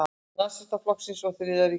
Nasistaflokksins og Þriðja ríkisins.